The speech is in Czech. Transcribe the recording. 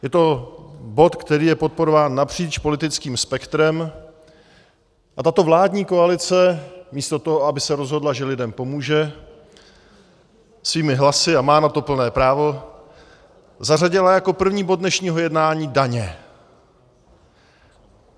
Je to bod, který je podporován napříč politickým spektrem, a tato vládní koalice místo toho, aby se rozhodla, že lidem pomůže svými hlasy, a má na to plné právo, zařadila jako první bod dnešního jednání daně.